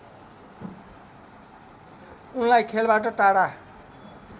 उनलाई खेलबाट टाढा